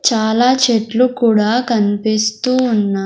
చాలా చెట్లు కూడా కనిపిస్తూ ఉన్నా.